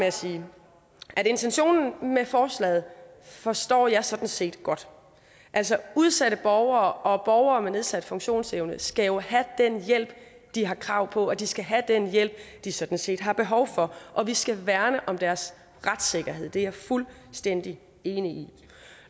at sige at intentionen med forslaget forstår jeg sådan set godt altså udsatte borgere og borgere med nedsat funktionsevne skal jo have den hjælp de har krav på og de skal have den hjælp de sådan set har behov for og vi skal værne om deres retssikkerhed det er jeg fuldstændig enig i